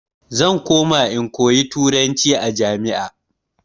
Zan koma in koyi turanci a jami'a.